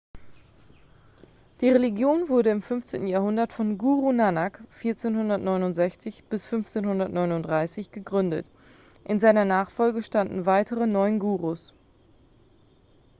die religion wurde im 15. jahrhundert von guru nanak 1469-1539 gegründet. in seiner nachfolge standen weitere neun gurus